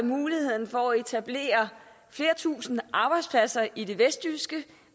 muligheden for at etablere flere tusinde arbejdspladser i det vestjyske